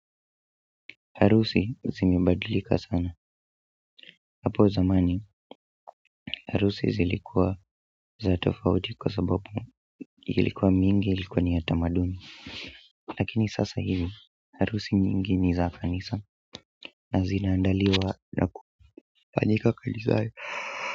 Harusi zimebadilika sana hapo zamani harusi zilikuwa za tofauti kwa sababu ilikuwa mingi ilikuwa ni ya tamaduni lakini sasa hivi, harusi mingi ni za kanisa na zinaandaliwa na kufanyika kanisani.